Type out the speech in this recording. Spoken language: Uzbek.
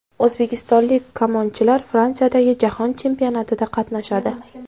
O‘zbekistonlik kamonchilar Fransiyadagi jahon chempionatida qatnashadi.